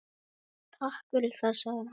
Takk fyrir það- sagði hann.